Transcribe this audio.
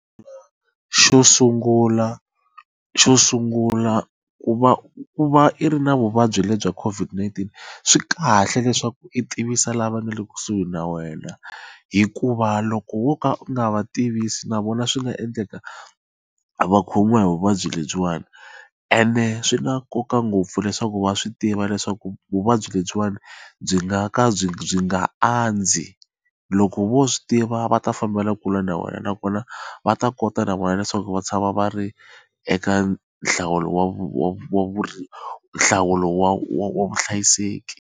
Xo sungula xo sungula ku va ku va i ri na vuvabyi lebyi COVID-19 swi kahle leswaku i tivisa lava nga le kusuhi na wena hikuva loko wo ka u nga va tivisa na vona swi nga endleka va khomiwa hi vuvabyi lebyiwani ene swi na nkoka ngopfu leswaku va swi tiva leswaku vuvabyi lebyiwani byi nga ka byi byi nga andzi loko vo swi tiva va ta fambela kule na wena nakona va ta kota na vona leswaku va tshama va ri eka nhlawulo wa nhlawulo wa vuhlayiseki.